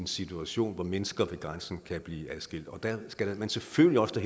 situation hvor mennesker ved grænsen kan blive adskilt og der skal man selvfølgelig også